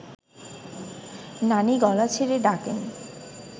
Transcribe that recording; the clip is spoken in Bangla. নানি গলা ছেড়ে ডাকেন